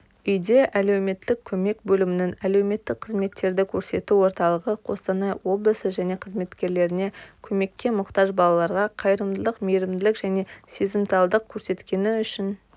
үйде әлеуметтік көмек бөлімінің әлеуметтік қызметтерді көрсету орталығы қостанай облысы және қызметкерлеріне көмекке мұқтаж балаларға қайырымдылық мейрімділік және сезімталдық көрсеткені үшін